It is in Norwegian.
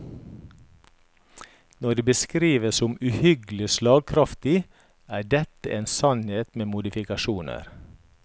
Når det beskrives som uhyggelig slagkraftig, er dette en sannhet med modifikasjoner.